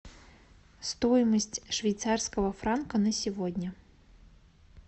стоимость швейцарского франка на сегодня